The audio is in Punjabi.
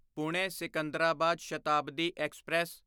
ਪੁਣੇ ਸਿਕੰਦਰਾਬਾਦ ਸ਼ਤਾਬਦੀ ਐਕਸਪ੍ਰੈਸ